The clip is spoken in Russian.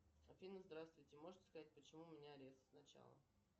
афина здравствуйте можете сказать почему у меня арест сначала